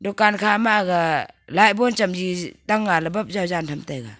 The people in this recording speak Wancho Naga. dukan kha ma aga light bon chamji tanga ley bap jaw jan tham taiga.